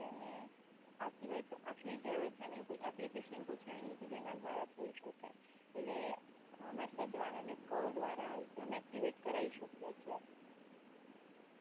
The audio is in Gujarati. અને આ સિવાય તો આટલી જ છે ને કોઈ એપ્લિકેશન તો છે નઈ કે જેના દ્વારા થઈ શકે એટલે મેસેજ દ્વારા અને કૉલ દ્વારા કરાવી અમે એક્ટિવેટ કરાવી શકીએ છીએ